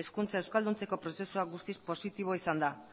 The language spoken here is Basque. hezkuntza euskalduntzeko prozesua guztiz positiboa izan da